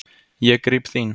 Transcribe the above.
Ég gríp þín.